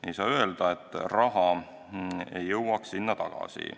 Ei saa öelda, et raha ei jõuaks sinna tagasi.